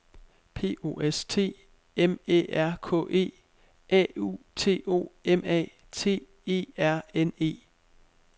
P O S T M Æ R K E A U T O M A T E R N E